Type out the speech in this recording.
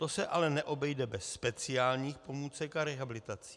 To se ale neobejde bez speciálních pomůcek a rehabilitací.